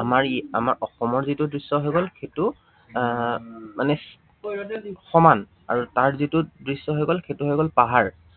আমাৰ ইয়াৰ আমাৰ অসমৰ যিটো দৃশ্য় হৈ গল, সেইটো আহ মানে সমান আৰু তাৰ যিটো দৃশ্য হৈ গল সেইটো হৈ গল পাহাৰ।